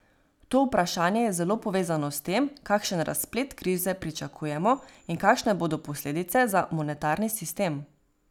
To vprašanje je zelo povezano s tem, kakšen razplet krize pričakujemo in kakšne bodo posledice za monetarni sistem.